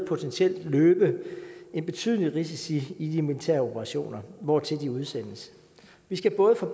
løbe en betydelig risiko i de militære operationer hvortil de udsendes vi skal både for